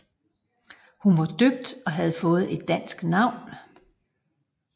Hun var døbt og havde fået et dansk navn